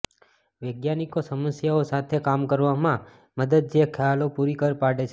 વૈજ્ઞાનિકો સમસ્યાઓ સાથે કામ કરવામાં મદદ જે ખ્યાલો પૂરી પાડે છે